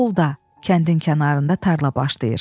Solda kəndin kənarında tarla başlayır.